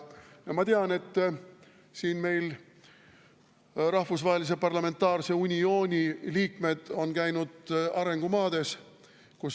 Ma tean, et rahvusvahelise uniooni liikmed on käinud arengumaades.